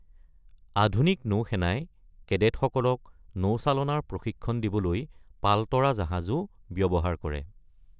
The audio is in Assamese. আধুনিক নৌসেনাই কেডেটসকলক নৌচালনাৰ প্ৰশিক্ষণ দিবলৈ পাল তৰা জাহাজো ব্যৱহাৰ কৰে।